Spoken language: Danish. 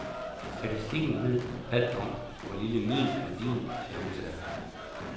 Statistikken ved alt om, hvor lille min, og din, chance er.